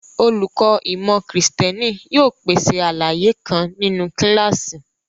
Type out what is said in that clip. Olùkọ́ ìmọ̀ Kristẹni yóò pèsè àlàyé kan nínú kíláàsì.